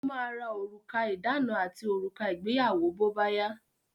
Ó ma ra òrùka ìdána àti òrùka ìgbéyàwó bóbáyá.